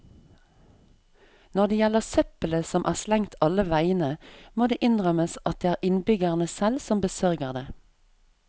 Når det gjelder søppelet som er slengt alle vegne, må det innrømmes at det er innbyggerne selv som besørger det.